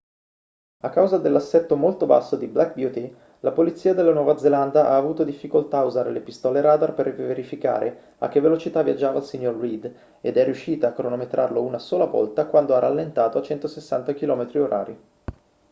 a causa dell'assetto molto basso di black beauty la polizia della nuova zelanda ha avuto difficoltà a usare le pistole radar per verificare a che velocità viaggiava il signor reid ed è riuscita a cronometrarlo una sola volta quando ha rallentato a 160 km/h